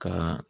Ka